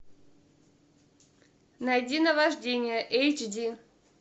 найди наваждение эйч ди